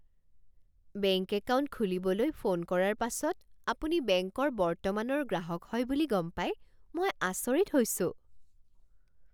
Bank account খুলিবলৈ phone কৰাৰ পাছত আপুনি বেংকৰ বৰ্তমানৰ গ্ৰাহক হয় বুলি গম পাই মই আচৰিত হৈছোঁ!